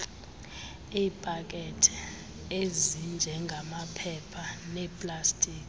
iipakethe ezinjengamaphepha neplastiki